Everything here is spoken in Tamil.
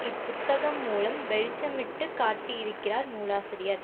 இப்புத்தகம் மூலம் வெளிச்சமிட்டு காட்டியிருக்கிறார் நூலாசிரியர்